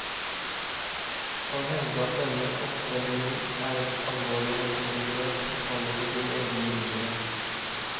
Å hevde at denne oppdemmingen er et alvorlig naturinngrep, faller på sin egen urimelighet.